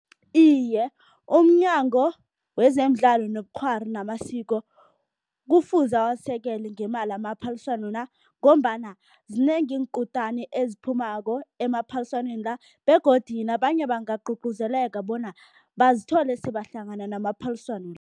Iye, umNyango wezemiDlalo nobuKghwari namaSiko kufuze awasekele ngemali amaphaliswano la ngombana zinengi iinkutani eziphumako emaphaliswaneni la begodu nabanye bangagcugcuzeleka bona bazithole sebahlangena namaphaliswano